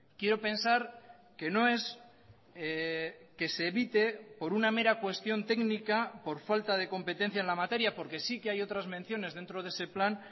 quiero pensar que no es que se evite por una mera cuestión técnica por falta de competencia en la materia porque sí que hay otras menciones dentro de ese plan